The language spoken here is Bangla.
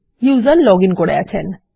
ব্যবহারকারী লগ ইন করে নিয়েছেন